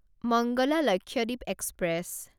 Mangala Lakshadweep express